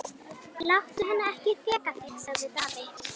Munnvik hennar skjálfa þegar hún svarar konunni.